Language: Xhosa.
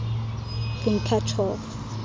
been cut off